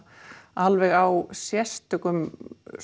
alveg á sérstökum